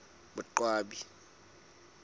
boqwabi